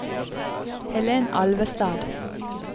Helen Alvestad